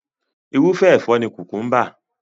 Irúfẹ́ ẹ̀fọ́ ni kùkúḿbà.